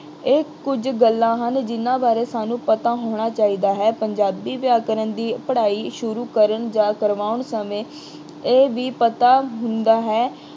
ਇਹ ਕੁੱਝ ਗੱਲਾਂ ਹਨ ਜਿਨ੍ਹਾਂ ਬਾਰੇ ਸਾਨੂੰ ਪਤਾ ਹੋਣਾ ਚਾਹੀਦਾ ਹੈ। ਪੰਜਾਬੀ ਵਿਆਕਰਨ ਦੀ ਪੜ੍ਹਾਈ ਸ਼ੁਰੂ ਕਰਨ ਜਾਂ ਕਰਵਾਉਣ ਸਮੇਂ ਇਹ ਵੀ ਪਤਾ ਹੁੰਦਾ ਹੈ